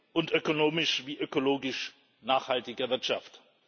und ökonomisch wie ökologisch nachhaltiger Wirtschaft.